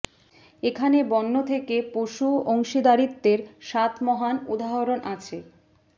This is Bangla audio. এখানে বন্য থেকে পশু অংশীদারিত্বের সাত মহান উদাহরণ আছে